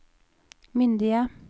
myndige